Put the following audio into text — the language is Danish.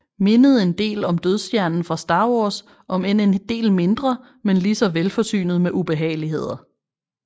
Mindede en del om Dødsstjernen fra Star Wars om end en del mindre men ligeså velforsynet med ubehageligheder